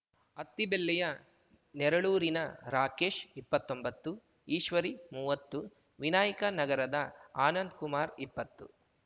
ಅತ್ತಿಬೆಲ್ಲೆಯ ನೆರಳೂರಿನ ರಾಕೇಶ್ ಇಪ್ಪತ್ತೊಂಬತ್ತು ಈಶ್ವರಿ ಮುವತ್ತು ವಿನಾಯಕ ನಗರದ ಆನಂದ್ ಕುಮಾರ್ ಇಪ್ಪತ್ತು